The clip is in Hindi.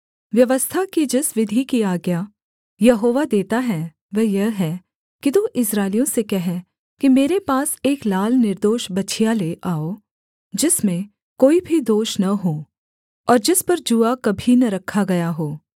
व्यवस्था की जिस विधि की आज्ञा यहोवा देता है वह यह है कि तू इस्राएलियों से कह कि मेरे पास एक लाल निर्दोष बछिया ले आओ जिसमें कोई भी दोष न हो और जिस पर जूआ कभी न रखा गया हो